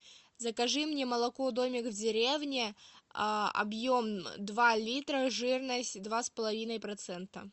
закажи мне молоко домик в деревне объем два литра жирность два с половиной процента